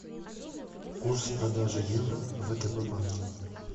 курс продажи евро в втб банке